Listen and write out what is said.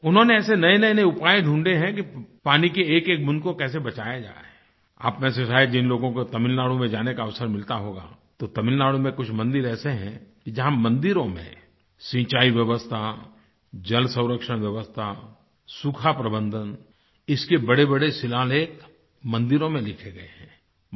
उन्होंने ऐसे नएनए उपाए ढूंढें है कि पानी की एकएक बूँद को कैसे बचाया जाए आप में से शायद जिन लोगों को तमिलनाडु में जाने का अवसर मिलता होगा तो तमिलनाडु में कुछ मंदिर ऐसे हैं कि जहाँ मंदिरों में सिंचाई व्यवस्था जलसंरक्षण व्यवस्था सूखाप्रबंधन इसके बड़ेबड़े शिलालेख मंदिरों में लिखे गए हैं